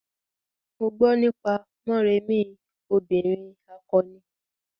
Mo gbo nípa Morèmi obìrin akọni.